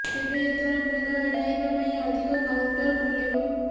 ତେବେ ଏଥର ଭିଡ଼ ଏଡ଼ାଇବା ପାଇଁ ଅଧିକ କାଉଣ୍ଟର ଖୋଲିବ